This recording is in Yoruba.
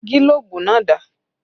Gílóbú náà dà?